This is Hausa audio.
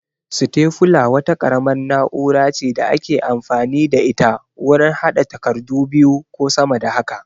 Sitefula wata ƙaramar na'ura ce da ake amfani da ita wurin haɗa takardu biyu ko sama da haka